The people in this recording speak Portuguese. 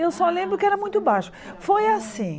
Eu só lembro que era muito baixo foi assim